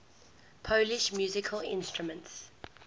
polish musical instruments